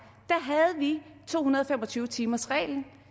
vi to hundrede og fem og tyve timersreglen